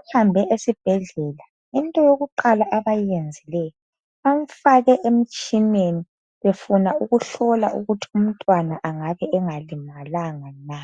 uhambe esibhedlela into yokuqala abayenzileyo bamfake emtshineni befuna ukuhlola ukuthi umntwana angabe engalimalanga na.